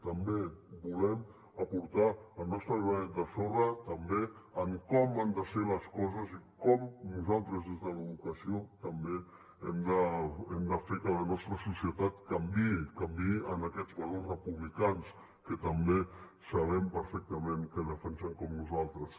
també volem aportar el nostre granet de sorra també en com han de ser les coses i com nosaltres des de l’educació també hem de fer que la nostra societat canviï canviï en aquests valors republicans que també sabem perfectament que defensen com nosaltres